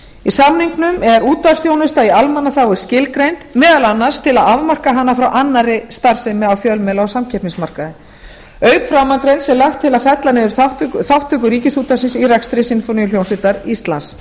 í samningnum er útvarpsþjónusta í almannaþágu skilgreind meðal annars til að afmarka hana frá annarri starfsemi á fjölmiðla og samkeppnismarkaði auk framangreinds er lagt til að fella niður þátttöku ríkisútvarpsins á rekstri sinfóníuhljómsveitar íslands